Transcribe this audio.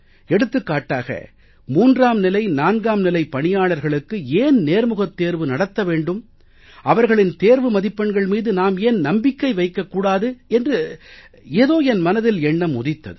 எடுத்துக்காட்டாக 3ம் நிலை 4ம் நிலைப் பணியாளர்களுக்கு ஏன் நேர்முகத் தேர்வு நடத்த வேண்டும் அவர்களின் தேர்வு மதிப்பெண்கள் மீது நாம் ஏன் நம்பிக்கை வைக்கக் கூடாது என்று ஏதோ என் மனதில் எண்ணம் உதித்தது